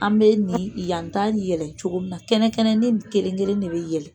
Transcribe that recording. An bɛ nin yan tan ni yɛlɛ cogo min kɛnɛ kɛnɛ ni kelenkelen de bɛ yɛlɛ.